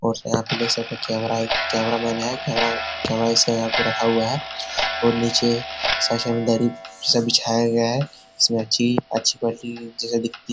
और यहाँ पर देख सकते हैं कैमरा है एक कैमरा मैन है । कैमरा ऐसा यहाँ पे रखा हुआ है और नीचे सशमदरी सब बिझाया गया है । इसमें अच्छी अच्छी क्वालिटी जैसी दिखती --